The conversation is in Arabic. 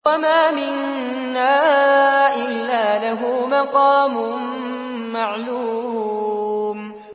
وَمَا مِنَّا إِلَّا لَهُ مَقَامٌ مَّعْلُومٌ